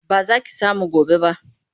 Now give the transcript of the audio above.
Ba za ki samu gobe ba.